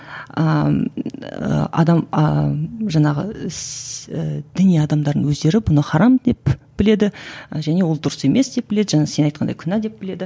ыыы адам ыыы жаңағы ііі діни адамдардың өздері бұны харам деп біледі және ол дұрыс емес деп біледі жаңа сен айтқандай күнә деп біледі